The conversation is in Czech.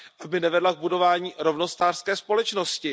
aby nevedla k budování rovnostářské společnosti.